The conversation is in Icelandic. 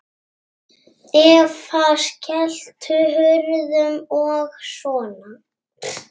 Eva: Skelltu hurðum og svona?